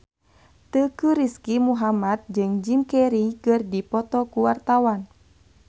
Teuku Rizky Muhammad jeung Jim Carey keur dipoto ku wartawan